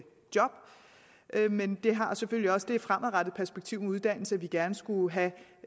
job men det har selvfølgelig også det fremadrettede perspektiv med uddannelse at vi gerne skulle have